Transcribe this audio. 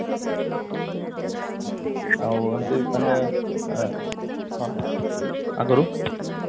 ଆଉ ଏମତି ସମୟ ଅ ଅ ଆଗୁରୁ